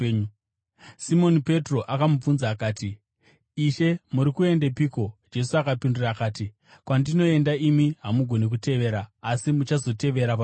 Simoni Petro akamubvunza akati, “Ishe, muri kuendepiko?” Jesu akapindura akati, “Kwandinoenda, imi hamugoni kutevera, asi muchazotevera pashure.”